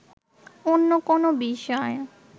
অন্য কোন বিষয়